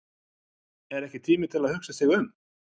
Er ekki tími til að hugsa sig um?